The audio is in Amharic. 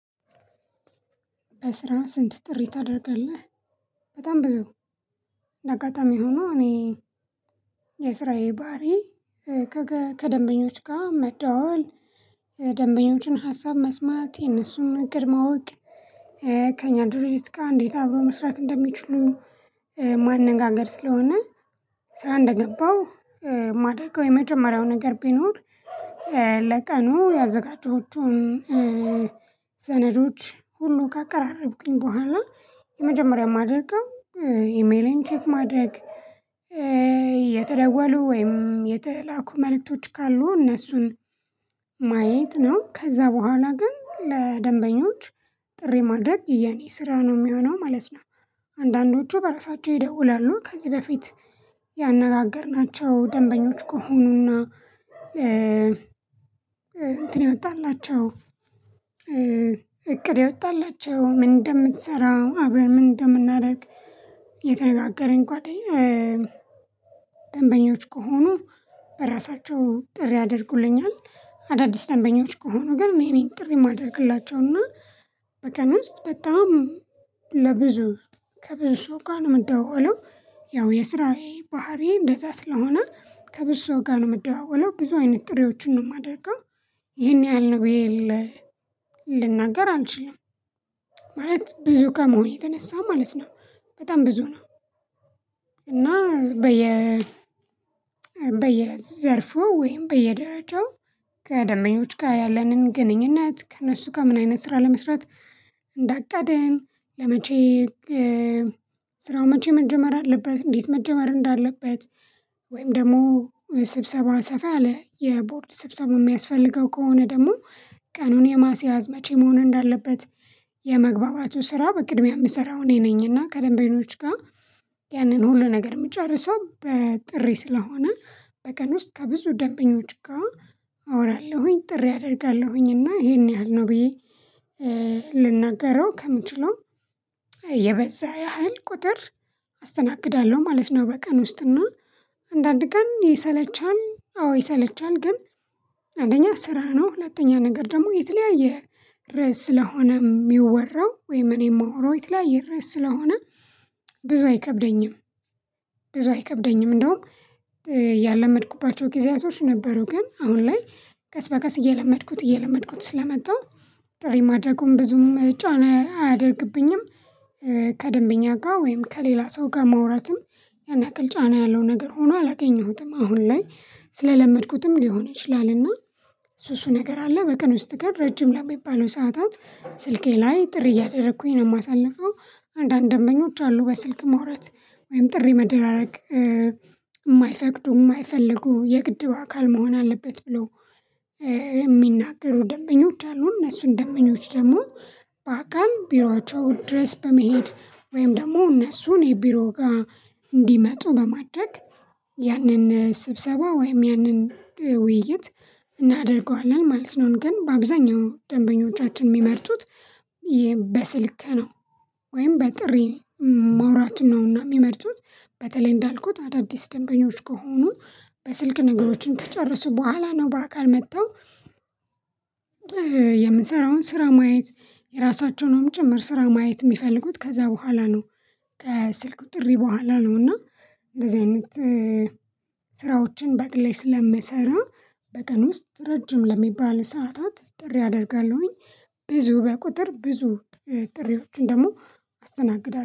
በስራ ስንት ጥሪ ታደርጋለህ? በጣም ብዙ እንደ አጋጣሚ ሆኖ እኔ የስራዬ ባህሪዬ ከደንበኞች ጋር መደዋወል ደንበኞችን ሀሳብ መስማት የነሱን እቅድ ማወቅ። ከእኛ ድርጅት ጋር እንዴት አብሮ መስራት እንደሚችሉ ማነጋገር ስለሆነ ስራ እንደገባው የማደርገው የመጀመሪያው ነገር ቢኖር ለቀኑ ያዘጋጀሁትን ሰነዶች ሁሉ ካቀራረብኩኝ በኋላ የመጀመሪያ ማደርገው ኢሜሌን ቼክ ማድረግ የተደወሉ ወይም የተላኩ መልእክቶች ካሉ እነርሱን ማየት ነው ከዛ በኋላ ግን ለደንበኞች ጥሪ ማድረግ የኔ ስራ ነው የሚሆነው ማለት ነው። በራሳቸው ይደውላሉ ከዚህ በፊት ያነጋገርናቸው ደንበኞች ከሆኑና እ የወጣላቸው እቅድ ያወጣላቸው ምን እንደምትሰራ አብረን ምን እንደምናደርግ የተነጋገረን ጓደኛ ደንበኞች ከሆኑ በራሳቸው ጥሪ ያደርጉልኛል። አዳዲስ ደንበኞች ከሆኑ ግን እኔ ነኝ ጥሪ የማደርግላቸው እና በቀን ውስጥ በጣም ለብዙ ከብዙ ጋር ነው የምደዋወለው ያው የስራዬ ባህሪዬ እንደዛ ስለሆነ ከብዙ ጋር ነው የምደዋወለው ብዙ አይነት ጥሬዎችን ነው የማደርገው። ይሄን ያህል ነው ብዬ ልናገር አንችልም ብዙ ከመሆኑ የተነሳ ማለት ነው በጣም ብዙ ነው። እና በየ በየዘርፉ ወይም በየደረጃው ከደንበኞች ጋር ያለንን ግንኙነት ከእነሱ ጋር ምን አይነት ስራ ለመስራት እንዳቀድን ለመቼ ስራው መቼ መጀመር አለበት እንዴት መጀመር እንዳለበት። ወይም ደግሞ ስብሰባ ሰፋ ያለ የቦርድ ስብሰባ የሚያስፈልገው ከሆነ ደግሞ ቀኑን የማስያዝ መቼ መሆን እንዳለበት። ስራ በቅድሚያ የምሰራው እኔ ነኝ እና ከደንበኞች ጋር ያንን ሁሉ ነገር የምጨርሰው በጥሪ ስለሆነ በቀን ውስጥ ከብዙ ደንበኞች ጋር አወራለሁኝ ጥሪ አደርጋለሁኝ እና ይሄን ያህል ነው ብዬ ልናገረው ከምችለው የበዛ ያህል ቁጥር አስተናግዳለሁ ማለት ነው። በቀን ውስጥ ነው አንዳንድ ቀን ይሰለቻል አዎ ይሰለቻል ግን። አንደኛ ስራ ነው ሁለተኛ ነገር ደግሞ የተለያየ ርዕስ ስለሆነ የሚወራው ወይም እኔ ማወራው የተለያየ ርዕስ ስለሆነ ብዙ አይከብደኝም ብዙ አይከብደኝም። እንደውም ያለመድኩባቸው ጊዜያቶች ነበሩ ግን አሁን ላይ ቀስበቀስ እየለመድኩት እየለመድኩት ስለመጣሁ ጥሪ ማድረጉን ብዙም ጫና አያደርግብኝም። ከደንበኛ ጋር ወይም ከሌላ ሰው ጋር ማውራትም ያን ያክል ጫና ያለው ነገር ሆኖ አላገኘሁትም አሁን ላይ ስለለመድኩትም ሊሆን ይችላልና። እሱ እሱ ነገር አለ በቀን ውስጥ ግን ረጅም ለሚባሉ ሰዓታት ስልኬ ላይ ጥሪ እያደረኩኝ ነው የማሳልፈው አንዳንድ ደንበኞች አሉ በስልክ ማውራት ወይም ጥሪ መደራረግ የማይፈቅዱ የማይፈልጉ የግድ በአካል መሆን አለበት ብለው የሚናገሩ ደንበኞች አሉ እነሱን ደንበኞች ደግሞ በአካል ቢሯቸው ድረስ በመሄድ ወይም ደግሞ እነርሱን ቢሮ ጋር እንዲመጡ በማድረግ ያንን ስብሰባ ወይም ያንን ውይይት እናደርገዋለን ማለት ነው። ግን በአብዛኛው ደንበኞቻችን የሚመርጡት ነው ወይም በጥሪ ማውራትን ነውና የሚመርጡት በተለይ እንዳልኩት አዳዲስ ደንበኞች ከሆኑ በስልክ ነገሮችን ከጨረሱ በኋላ ነው በአካል መጥተው የምንሰራውን ስራ ማየት የራሳቸውንም ጭምር ስራ ማየት የሚፈልጉት ከዛ በኋላ ነው። ከስልኩ ጥሪ በኋላ ነው እና እንደዚህ አይነት ስራዎችን በግሌ ስለምሰራ በቀን ውስጥ ረጅም ለሚባል ሰዓታት ጥሪ አደርጋለሁኝ ብዙ በቁጥር ብዙ ጥሪዎችን ደግሞ አስተናግዳለሁ